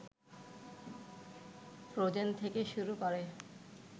frozen থেকে শুরু করে